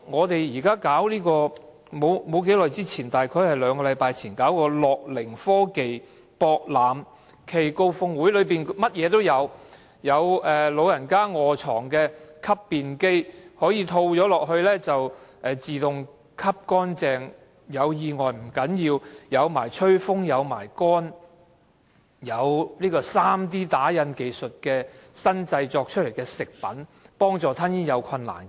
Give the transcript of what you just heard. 大約兩星期前舉辦的"樂齡科技博覽暨高峰會"，場內應有盡有：有長者臥床時使用的吸便機，套上去後可以自動吸乾淨，還有吹風烘乾功能；有 3D 打印技術製造出來的食品，幫助吞嚥有困難的人。